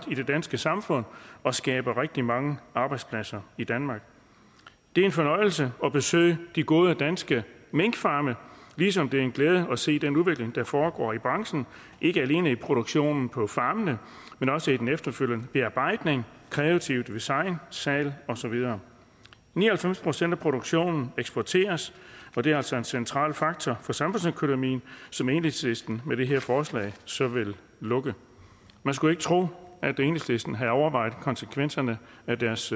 i det danske samfund og skaber rigtig mange arbejdspladser i danmark det er en fornøjelse at besøge de gode danske minkfarme ligesom det er en glæde at se den udvikling der foregår i branchen ikke alene i produktionen på farmene men også i den efterfølgende bearbejdning kreative design salget og så videre ni og halvfems procent af produktionen eksporteres så det er altså en central faktor for samfundsøkonomien som enhedslisten med det her forslag så vil lukke man skulle ikke tro at enhedslisten havde overvejet konsekvenserne af deres